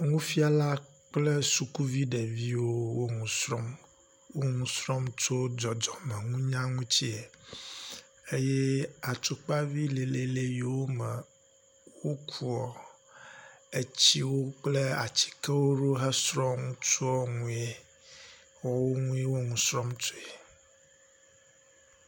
Nufiala kple sukuvi ɖeviwo wo nu srɔ̃m. Wo nu srɔ̃m tso dzɔdzɔmeŋutinunya ŋuti eye atukpavi lɛlɛlɛ yiwo me wokua etsiwo kple atsikewo ɖo hesrɔ̃a nue wɔwo nue wo nu srɔ̃m tsoe.